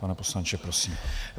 Pane poslanče, prosím.